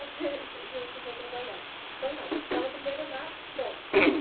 trabalhar, então calma, estava primeiro na Thompson.